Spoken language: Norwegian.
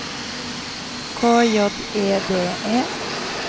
K J E D E